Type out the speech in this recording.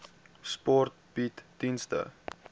sport bied dienste